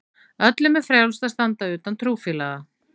Öllum er frjálst að standa utan trúfélaga.